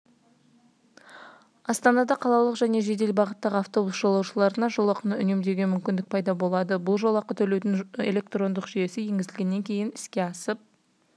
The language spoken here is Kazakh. астанада қалалық және жедел бағыттағы автобус жолаушыларына жолақыны үнемдеуге мүмкіндік пайда болады бұл жолақы төлеудің электрондық жүйесі енгізілгеннен кейін іске асып